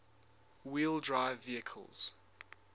wheel drive vehicles